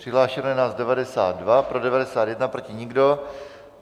Přihlášeno je nás 92, pro 91, proti nikdo.